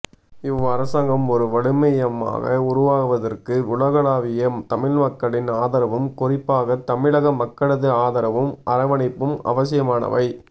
இவ் அரசாங்கம் ஒரு வலுமையமாக உருவாகுவதற்கு உலகளாவிய தமிழ்மக்களின் ஆதரவும் குறிப்பாகத் தமிழக மக்களது ஆதரவும் அரவணைப்பும் அவசியமானவை